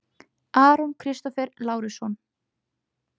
Aron Kristófer Lárusson